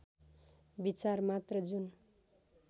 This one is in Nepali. विचार मात्र जुन